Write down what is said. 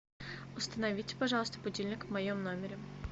установите пожалуйста будильник в моем номере